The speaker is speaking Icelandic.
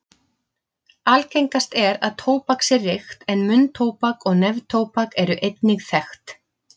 Algengast er að tóbak sé reykt en munntóbak og neftóbak eru einnig þekkt.